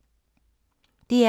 DR K